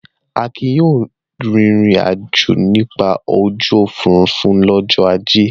Akin yóò rìnrìn-àjò nípasẹ̀ ojú òfurufú lọ́jọ́ ajé!